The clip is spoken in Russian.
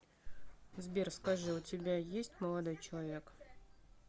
сбер скажи у тебя есть молодой человек